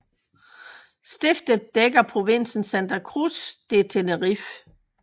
Stiftet dækker provinsen Santa Cruz de Tenerife